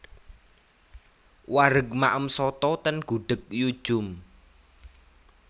Wareg maem soto ten Gudeg Yu Djum